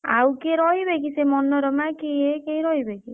ଆଉ କିଏ ରହିବେ କି ସେ ମନୋରମା କିଏ କିଏ ରହିବେକି?